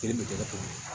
Kelen bɛ tigɛ cogo di